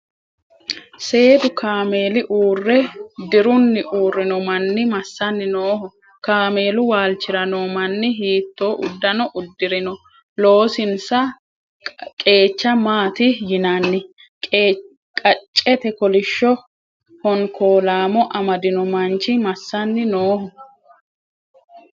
Seedu kaameeli mule dirunni uurrino manni massanni nooho? Kaameelu waalchira noo manni hiittoo uddano uddi"rino? Loosinsa qeecha maati yinanni? Qaccete kolishsho honkoolaamo amadino manchi massanni nooho?